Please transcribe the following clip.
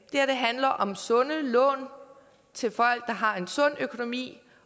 her handler om sunde lån til folk der har en sund økonomi